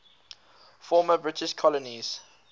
former british colonies